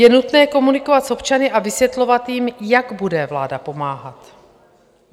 Je nutné komunikovat s občany a vysvětlovat jim, jak bude vláda pomáhat.